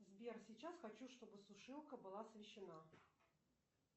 сбер сейчас хочу чтобы сушилка была освещена